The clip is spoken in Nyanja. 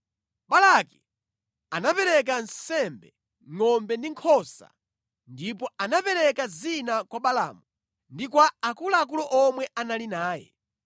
Balaki anapereka nsembe ngʼombe ndi nkhosa, ndipo anapereka zina kwa Balaamu ndi kwa akuluakulu omwe anali naye.